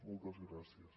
moltes gràcies